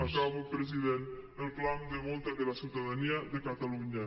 acabo president el clam de molta de la ciutadania de catalunya